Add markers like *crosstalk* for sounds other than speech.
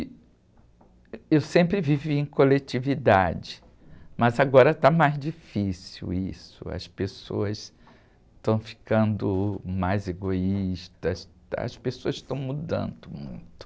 E, *unintelligible* eu sempre vivi em coletividade, mas agora está mais difícil isso, as pessoas estão ficando mais egoístas, as pessoas estão mudando muito.